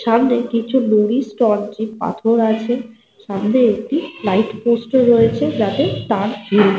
সামনে কিছু নুড়ি স্টোন চিপ পাথর আছে। সামনে একটি লাইট পোস্ট -ও রয়েছে যাতে তার ঝুল--